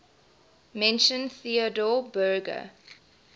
mentioned theodor berger